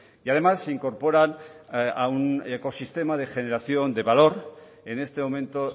y además se incorporan a un ecosistema de generación de valor en este momento